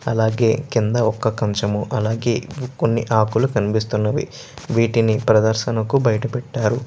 అలాగే కింద ఒక కంచము అలాగే కొన్ని ఆకులు కనిపిస్తునై వీటిని ప్రదర్శనకు బయట పెటారు.